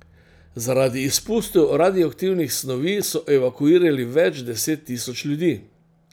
Zaradi izpustov radioaktivnih snovi so evakuirali več deset tisoč ljudi.